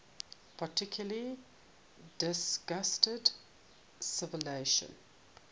particularly distinguished civilization